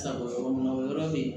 Sa bɔ yɔrɔ min na o yɔrɔ bɛ yen